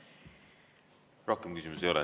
Rohkem küsimusi ei ole.